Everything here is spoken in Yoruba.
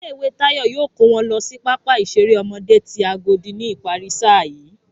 Ilé ìwé Táyọ̀ yóò kó wọn lọ sí pápá ìṣeré ọmọdé ti Agodi ni ìparí sáà yìí